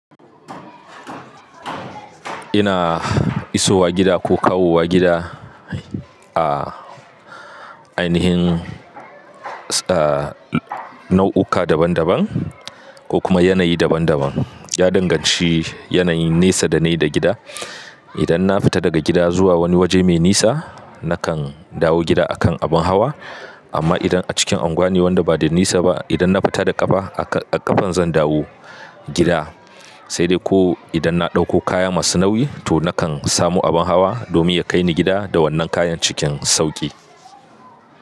Ina isowa gida ko kawowa gida a ainihin, ah nau uka daban daban ko kuma yanayi daban daban. Ya danganci yanayin nesa da nai da gida. Idan na fita daga gida zuwa wani waje mai nisa, nakan dawo gida a kan abin hawa. Amma idan a cikin anguwan ne wanda ba da nisa ba, idan na fita da ƙafa, a ƙa a ƙafan zan dawo gida. Sai dai ko idan na ɗauko kaya masu nauyi, to nakan samu abin hawa domin ya kai ni gida da wannan kayan cikin sauƙi.